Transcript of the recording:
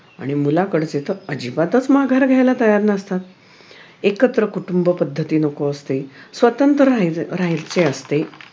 आणि मुलाकडचे तर अजिबातच माघार घ्यायला तयार नसतात एकत्र कुटुंब पद्धती नको असते स्वतंत्र राहायचे असते